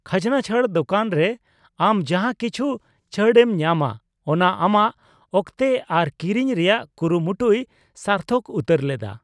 ᱠᱷᱟᱡᱱᱟᱪᱷᱟᱹᱲ ᱫᱚᱠᱟᱱ ᱨᱮ ᱟᱢ ᱡᱟᱦᱟᱸ ᱠᱤᱪᱷᱩ ᱪᱷᱟᱹᱲ ᱮᱢ ᱧᱟᱢᱟ ᱚᱱᱟ ᱟᱢᱟᱜ ᱚᱠᱛᱮ ᱟᱨ ᱠᱤᱨᱤᱧ ᱨᱮᱭᱟᱜ ᱠᱩᱨᱩ ᱢᱩᱴᱩᱭ ᱥᱟᱨᱛᱷᱚᱠ ᱩᱛᱟᱹᱨ ᱞᱮᱫᱟ ᱾